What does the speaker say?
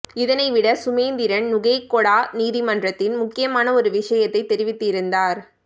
இதனைவிட சுமந்திரன் நுகேகொட நீதிமன்றத்தில் முக்கியமான ஒரு விஷயத்தைத் தெரிவித்திருந்தார்